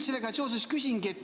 Sellega seoses küsingi.